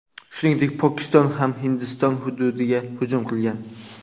Shuningdek, Pokiston ham Hindiston hududiga hujum qilgan.